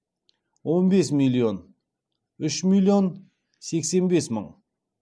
он бес миллион үш миллион сексен бес мың